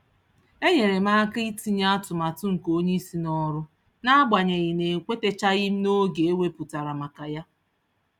Enyerem aka itinye atụmatụ nke onyeisi n'ọrụ, naagbanyeghi na ekwetachaghịm n'oge eweputara maka yá